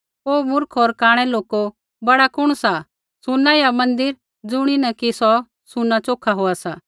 ओ मूर्ख होर कांणै लोको बड़ा कुण सा सुना या मन्दिर ज़ुणियै कि सुना च़ोखा होआ सा